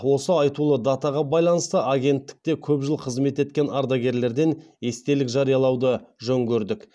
осы айтулы датаға байланысты агенттікте көп жыл қызмет еткен ардагерлерден естелік жариялауды жөн көрдік